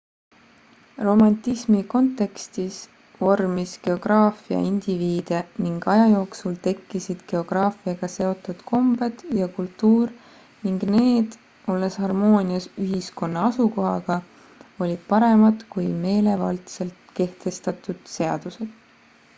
romantismi kontekstis vormis geograafia indiviide ning aja jooksul tekkisid geograafiaga seotud kombed ja kultuur ning need olles harmoonias ühiskonna asukohaga olid paremad kui meelevaldselt kehtestatud seadused